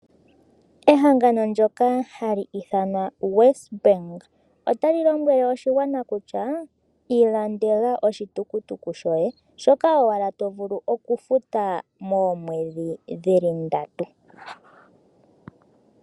Ehangano ndoka hali ithanwa WesBank otali lombwele oshigwana kutya ilandela oshitukutuku shoye, shoka owala tovulu okufuta moomwedhi dhili ndatu.